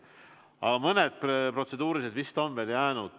Aga mõned protseduurilised küsimused on vist veel.